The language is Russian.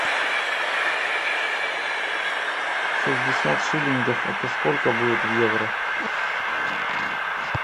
шестьдесят шиллингов это сколько будет в евро